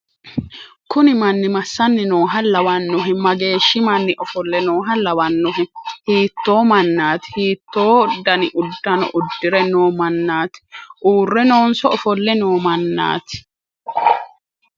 kuni manni massanni nooha lawannohe? mageeshhsi manni ofolle nooha lawannohe? hiitto mannaati? hiitto dani uddano uddi're noo mannati? uurre noonso ofolle noo mannaati?